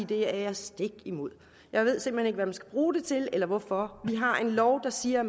det er jeg stik imod jeg ved simpelt hen ikke hvad man skal bruge det til eller hvorfor vi har en lov der siger